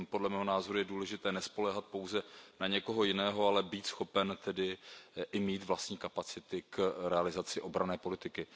Podle mého názoru je důležité nespoléhat pouze na někoho jiného, ale být schopen i mít vlastní kapacity k realizaci obranné politiky.